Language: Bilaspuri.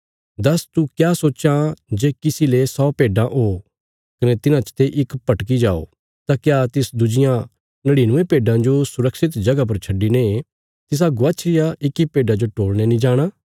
दस्स तू क्या सोच्चां जे किसी ले सौ भेड्डां ओ कने तिन्हां चते इक भटकी जाओ तां क्या तिस दुज्जियां नड़िनुये भेड्डां जो सुरक्षित जगह पर छड्डिने तिसा गवाच्छी रिया इक्की भेड्डा जो टोलणे नीं जाणा